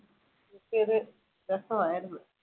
അതൊക്കെയൊരു രസമായിരുന്നു.